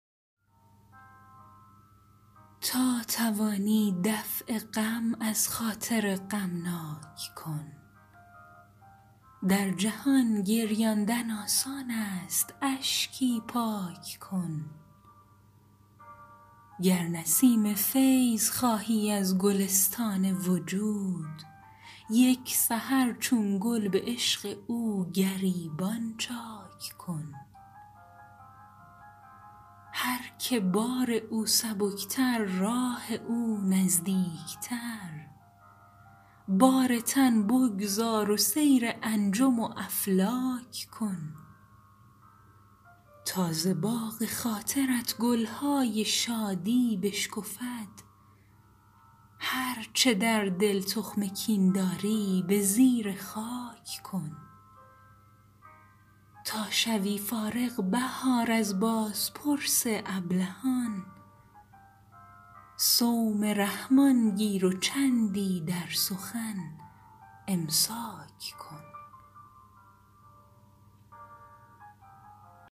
تا توانی دفع غم از خاطر غمناک کن در جهان گریاندن آسانست اشکی پاک کن گر نسیم فیض خواهی از گلستان وجود یک سحر چون گل به عشق او گریبان چاک کن هرکه بار او سبکتر راه او نزدیکتر بار تن بگذار و سیر انجم و افلاک کن تا ز باغ خاطرت گل های شادی بشکفد هرچه در دل تخم کین داری به زیر خاک کن تا شوی فارغ بهار از بازپرس ابلهان صوم رحمن گیر و چندی در سخن امساک کن